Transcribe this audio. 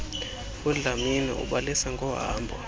udlamini ubalisa ngohambo